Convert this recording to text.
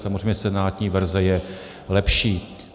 Samozřejmě senátní verze je lepší.